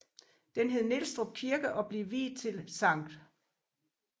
Den hed Nielstrup Kirke og blev viet til Sct